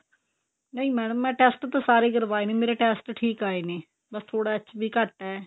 ਨਹੀ ਮੈਡਮ ਮੈਂ test ਤਾ ਸਾਰੇ ਹੀ ਕਰਵਾਏ ਨੇ ਮੇਰੇ test ਠੀਕ ਆਏ ਨੇ ਬੱਸ ਥੋੜਾ HB ਘੱਟ ਏ